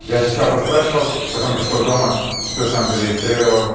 я сначала поспрашивал потом пришёл дома всё сам зарегистрировал